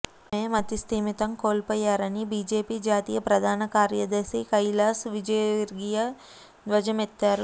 ఆమె మతిస్ధిమితం కోల్పోయారని బీజేపీ జాతీయ ప్రధాన కార్యదర్శి కైలాష్ విజయ్వర్గీయ ధ్వజమెత్తారు